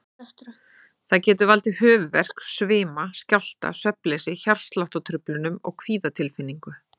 Það getur valdið höfuðverk, svima, skjálfta, svefnleysi, hjartsláttartruflunum og kvíðatilfinningu.